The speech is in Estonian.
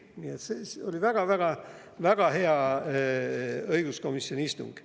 Nii et see oli väga-väga hea õiguskomisjoni istung.